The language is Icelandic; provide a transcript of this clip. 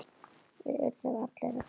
Við urðum allir að fara.